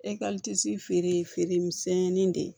feere feere misɛnin de ye